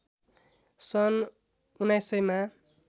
सन् १९०० मा